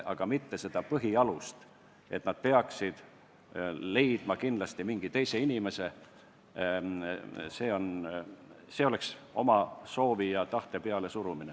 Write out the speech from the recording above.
Aga põhialus on, et kui nad meie nõudel peaksid kindlasti leidma mõne teise inimese, siis see oleks oma soovi ja tahte pealesurumine.